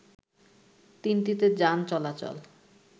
তিনটিতে যান চলাচল